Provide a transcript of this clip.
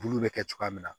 Bulu bɛ kɛ cogoya min na